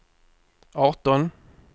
arton